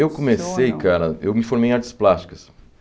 Eu comecei, Funcionam Cara, eu me formei em artes plásticas.